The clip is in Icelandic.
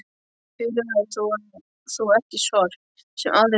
Urðar þú ekki sorp, sem aðrir menn?